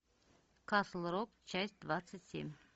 касл рок часть двадцать семь